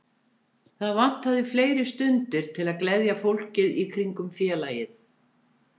Það vantaði fleiri stundir til að gleðja fólkið í kringum félagið.